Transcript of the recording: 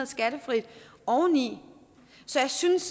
skattefrit oveni så jeg synes